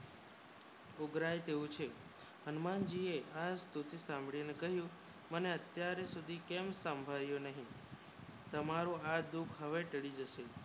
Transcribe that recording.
ઉભરાય તેવું છે હનુમાનજી એ ખાસ કરીને મને અત્યાર સુધી કેમ સાંભળ્યો નહિ તમારો હાથ દુઃખ માં તરી જાશે